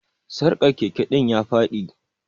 Sarkar Keke din ya Fadi.